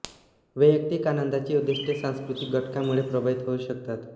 वैयक्तिक आनंदाची उद्दिष्टे सांस्कृतिक घटकांमुळे प्रभावित होऊ शकतात